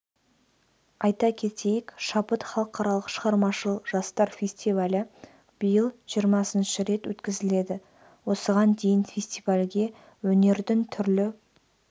айта кетейік шабыт халықаралық шығармашыл жастар фестивалі биыл жиырмасыншы рет өткізіледі осыған дейін фестивальге өнердің түрлі